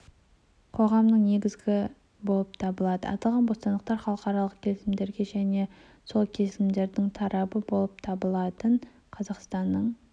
қоғамның негізі болып табылады аталған бостандықтар халықаралық келісімдерде және сол келісімдердің тарабы болып табылатын қазақстанның